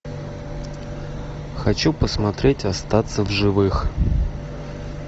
хочу посмотреть остаться в живых